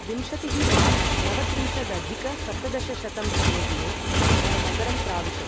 विंशतिः मार्च नवत्रिंशदधिक सप्तदशशतं तमे दिने सः नगरं प्राविशत्।